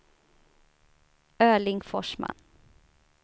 Erling Forsman